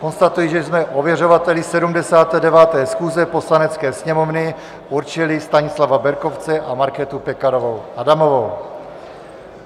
Konstatuji, že jsme ověřovateli 79. schůze Poslanecké sněmovny určili Stanislava Berkovce a Markétu Pekarovou Adamovou.